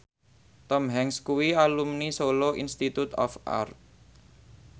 Tom Hanks kuwi alumni Solo Institute of Art